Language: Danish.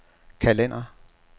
kalender